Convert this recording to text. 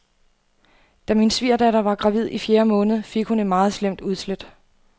Da min svigerdatter var gravid i fjerde måned, fik hun et meget slemt udslæt.